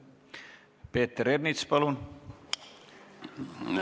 Peeter Ernits, palun!